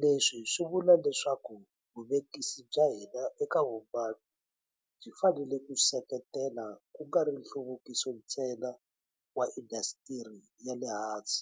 Leswi swi vula leswaku vuvekisi bya hina eka vumaki byi fanele ku seketela kungari nhluvukiso ntsena wa indhasitiri ya le hansi,